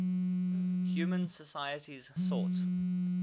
human societies sought